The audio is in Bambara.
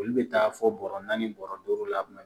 Olu bɛ taa fɔ bɔrɛ naani bɔrɔ duuru la